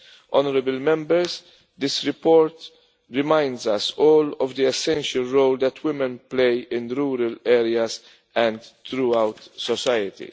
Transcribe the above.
Honourable Members, this report reminds us all of the essential role that women play in rural areas and throughout society.